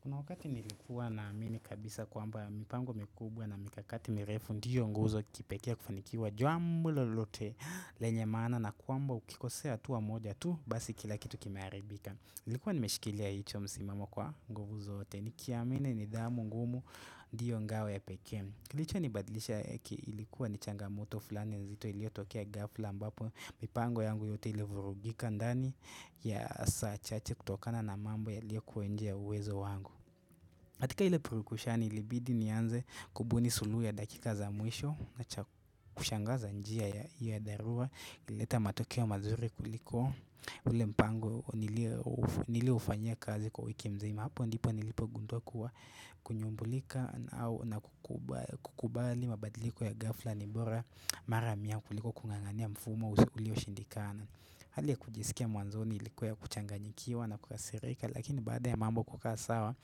Kuna wakati nilikuwa na amini kabisa kwamba mipango mikubwa na mikakati mirefu ndiyo nguzo kipekee ya kufanikiwa jambo lolote lenye maana na kwamba ukikosea hatua moja tu basi kila kitu kimearibika. Ilikuwa nimeshikilia hicho msimamo kwa nguvu zote ni kiamini ni dhamu ngumu diyo ngawe ya pekee kilicho nibadlisha eki ilikuwa ni changamoto fulani nzito ilio tokea gafla ambapo mipango yangu yote ilio vurugika ndani ya saa chache kutokana na mambo yaliyo kuwa nje ya uwezo wangu katika ile purukushani ilibidi ni anze kubuni suluhu ya dakika za mwisho Nacha kushangaza njia ya dharura Ilileta matokeo mazuri kuliko ule mpango nilio ufanyia kazi kwa wiki mzima Hapo ndipo nilipo gunduwa kuwa kunyumbulika na kukubali mabadiliko ya ghafla nibora maramia kuliko kung'ang'ania mfumo usi ulio shindikana Hali ya kujisikia mwanzo ilikuwa ya kuchanganyikiwa na kukasirika Lakini baada ya mambo kukaa sawa